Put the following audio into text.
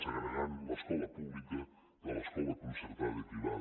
segregant l’escola pública de l’escola concertada i privada